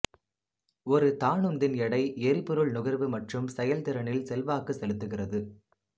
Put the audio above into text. ஒரு தானுந்தின் எடை எரிபொருள் நுகர்வு மற்றும் செயல்திறனில் செல்வாக்கு செலுத்துகிறது